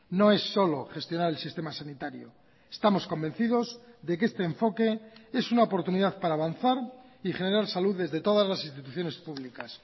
no es solo gestionar el sistema sanitario estamos convencidos de que este enfoque es una oportunidad para avanzar y generar salud desde todas las instituciones públicas